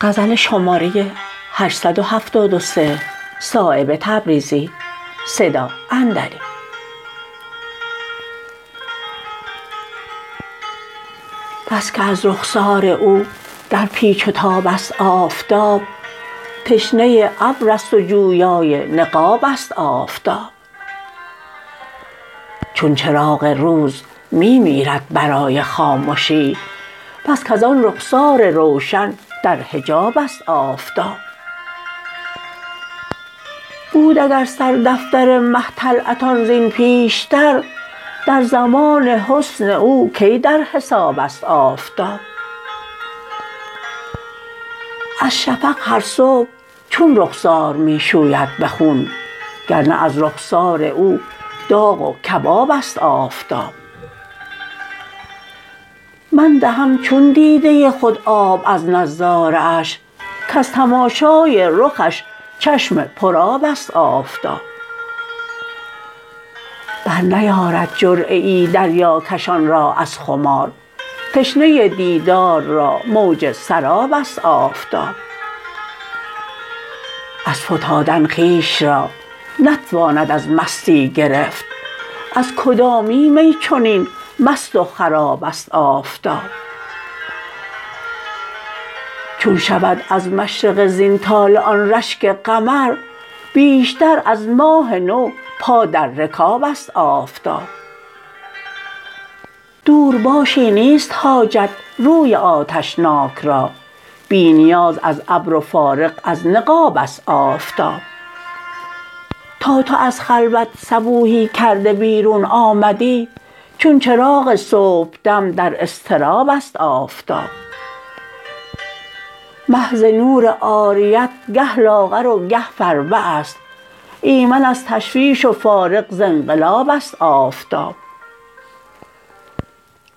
بس که از رخسار او در پیچ و تاب است آفتاب تشنه ابرست و جویای نقاب است آفتاب چون چراغ روز می میرد برای خامشی بس کز آن رخسار روشن در حجاب است آفتاب بود اگر سر دفتر مه طلعتان زین پیشتر در زمان حسن او کی در حساب است آفتاب از شفق هر صبح چون رخسار می شوید به خون گرنه از رخسار او داغ و کباب است آفتاب من دهم چون دیده خود آب از نظاره اش کز تماشای رخش چشم پر آب است آفتاب برنیارد جرعه ای دریاکشان را از خمار تشنه دیدار را موج سراب است آفتاب از فتادن خویش را نتواند از مستی گرفت از کدامین می چنین مست و خراب است آفتاب چون شود از مشرق زین طالع آن رشک قمر بیشتر از ماه نو پا در رکاب است آفتاب دور باشی نیست حاجت روی آتشناک را بی نیاز از ابر و فارغ از نقاب است آفتاب تا تو از خلوت صبوحی کرده بیرون آمدی چون چراغ صبحدم در اضطراب است آفتاب مه ز نور عاریت گه لاغر و گه فربه است ایمن از تشویش و فارغ ز انقلاب است آفتاب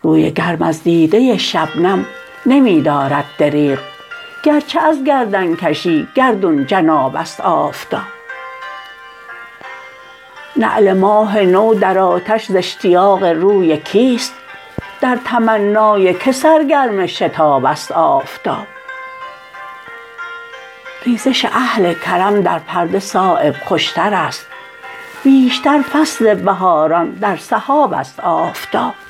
روی گرم از دیده شبنم نمی دارد دریغ گرچه از گردنکشی گردون جناب است آفتاب نعل ماه نو در آتش ز اشتیاق روی کیست در تمنای که سر گرم شتاب است آفتاب ریزش اهل کرم در پرده صایب خوشترست بیشتر فصل بهاران در سحاب است آفتاب